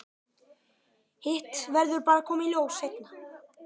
Hitt verður bara að koma í ljós seinna.